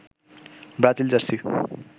Brazil jersey